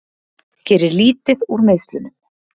Gerir lítið úr meiðslunum